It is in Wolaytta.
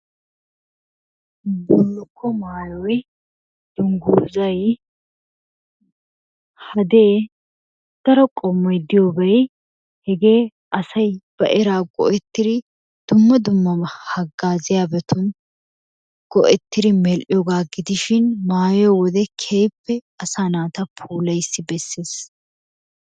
Bulluko maayoy, dungguzay, hadee, daro qommoy diyoobay hegee asay ba eraa go"ertiri dumma dummaba hagaazziyaabatun go"ettiri mel"iyooga gidishin maayiyoo wode keehippe asaa naata puulayiis beesses.